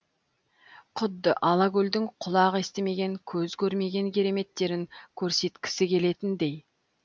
құдды алакөлдің құлақ естімеген көз көрмеген кереметтерін көрсеткісі келетіндей